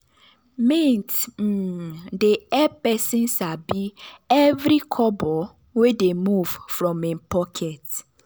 mint um dey help person sabi every kobo wey dey move from him pocket.